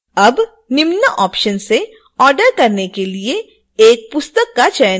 अब निम्न ऑप्शन्स से ऑर्डर करने के लिए एक पुस्तक का चयन करें